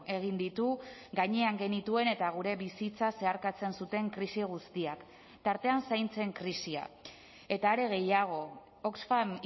egin ditu gainean genituen eta gure bizitza zeharkatzen zuten krisi guztiak tartean zaintzen krisia eta are gehiago oxfam